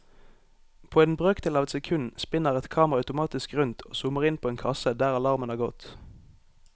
På en brøkdel av et sekund spinner et kamera automatisk rundt og zoomer inn på en kasse der alarmen har gått.